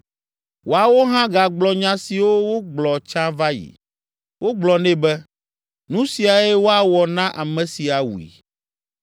Woawo hã gagblɔ nya siwo wogblɔ tsã va yi. Wogblɔ nɛ be, “Nu siae woawɔ na ame si awui.”